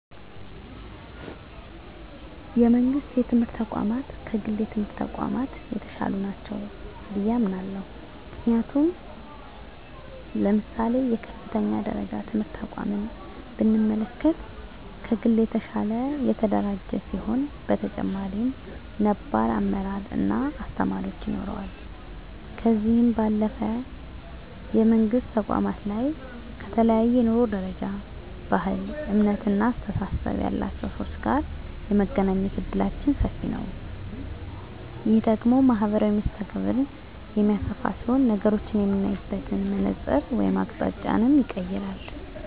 የመንግስት የትምህርት ተቋማት ከግል የትምህርት ተቋማት የተሻሉ ናቸው ብየ አምናለሁ። ምክንያቱም ለምሳሌ የከፍተኛ ደረጃ ትምህርት ተቋምን ብንመለከት ከግል የተሻለ የተደራጀ ሲሆን በተጨማሪም ነባር አመራር እና አስተማሪዎች ይኖረዋል። ከዚህ ባለፈም የመንግስት ተቋማት ላይ ከተለያየ የኑሮ ደረጃ፣ ባህል፣ እምነት እና አስተሳሰብ ያላቸው ሰወች ጋር የመገናኘት እድላችን ሰፊ ነዉ። ይህ ደግሞ ማህበራዊ መስተጋብርን የሚያሰፋ ሲሆን ነገሮችን የምናይበትን መነፀር ወይም አቅጣጫንም ይቀየራል።